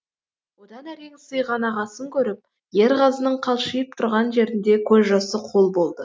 одан әрең сыйған ағасын көріп ерғазының қалшиып тұрған жерінде көз жасы қол болды